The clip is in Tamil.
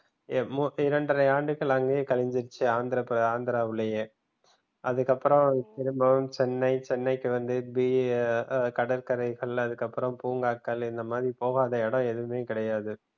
இரண்டரை ஆண்டுகள் அங்கே கழிச்சிடுச்சு ஆந்திர ஆந்திராலயே அதுக்கு அப்புறம் திரும்பவும் சென்னை சென்னைக்கு வந்து கடற்கரைகள் அப்புறம் பூங்காக்கள் இந்த மாதிரி போகாத இடம் எதுமே கிடையாது